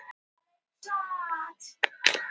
Að vera með annan fótinn í gröfinni